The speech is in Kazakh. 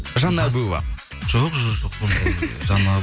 жанна әбуова жоқ жоқ